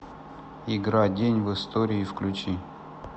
игра день в истории включи